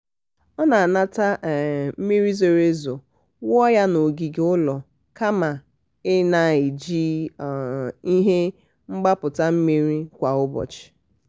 ọ na-anata um mmiri zoro ezo wụọ ya n'ogige ụlọ kama ị na-eji um ihe mgbapụta mmiri kwa ụbọchị. um